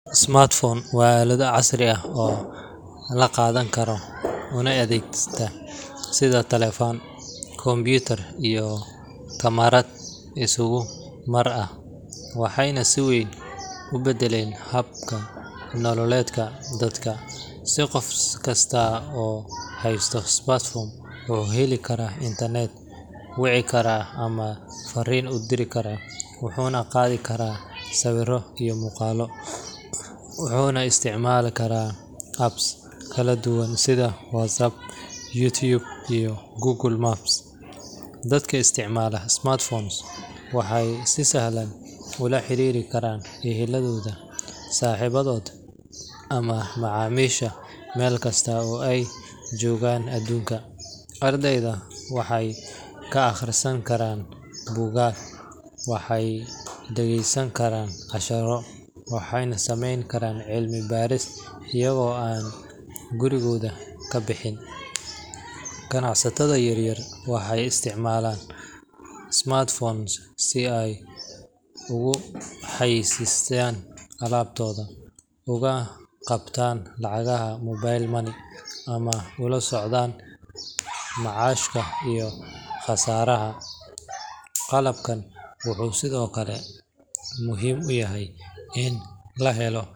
Smartphones waa aalado casri ah oo la qaadan karo una adeegta sida taleefan, kombiyuutar iyo kamarad isku mar ah, waxayna si weyn u beddeleen hab nololeedka dadka. Qof kasta oo haysta smartphone wuxuu heli karaa internet, wici kara ama fariin diri kara, wuxuu qaadan karaa sawirro iyo muuqaallo, wuxuuna isticmaali karaa apps kala duwan sida WhatsApp, YouTube, iyo Google Maps. Dadka isticmaala smartphones waxay si sahlan ula xiriiri karaan ehelkooda, saaxiibadood ama macaamiisha meelkasta oo ay joogaan aduunka. Ardaydu waxay ka akhrisan karaan buugaag, waxay dhagaysan karaan casharro, waxayna sameyn karaan cilmi baaris iyagoo aan gurigooda ka bixin. Ganacsatada yaryar waxay isticmaalaan smartphones si ay ugu xayeysiiyaan alaabtooda, uga qabtaan lacagaha mobile money, ama ula socdaan macaashka iyo khasaaraha. Qalabkan wuxuu sidoo kale muhiim u yahay in la helo.